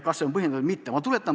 Kas see on põhjendatud või mitte?